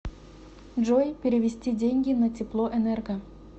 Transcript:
джой перевести деньги на теплоэнерго